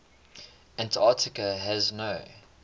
antarctica has no